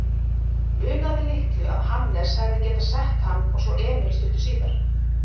Munaði litlu að Hannes hefði getað sett hann og svo Emil stuttu síðar.